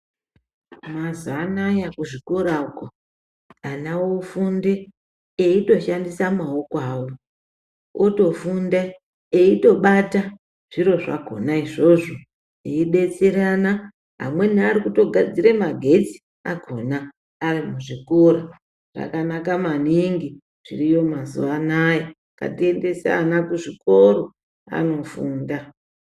Mazuva anaya kuzvikora uko ana ofunde aindoshandisa maoko avo ,otofunde aitobata zviro zvakona izvozvo eidetserana amweni arikutogadzira magetsi akona ari muzvikora .Zvakanaka maningi zviriyo mazuva anaya , ngatiendese ana kuzvikora anofunda .